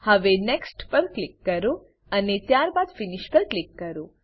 હવે next next પર click કરો અને ત્યારબાદ ફિનિશ ફીનીશ પર ક્લિક કરો